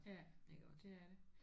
Ja det er det